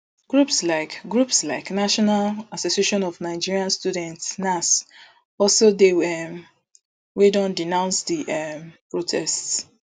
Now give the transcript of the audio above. groups like groups like national association of nigerian students nans also dey um wey don denounce di um protests